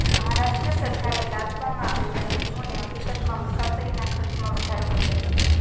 મહારાષ્ટ્ર સરકારે લાદવામાં આવેલા નિયમોએ હકીકતમાં મુસાફરીના ખર્ચમાં વધારો કર્યો છે